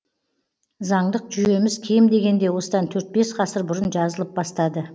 заңдық жүйеміз кем дегенде осыдан төрт бес ғасыр бұрын жазылып бастады